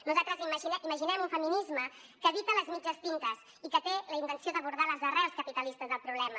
nosaltres imaginem un feminisme que evita les mitges tintes i que té la intenció d’abordar les arrels capitalistes del problema